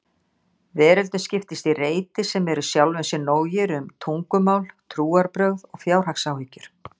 Veröldin skiptist í reiti sem eru sjálfum sér nógir um tungumál, trúarbrögð og fjárhagsáhyggjur.